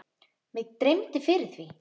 Mig dreymdi fyrir því.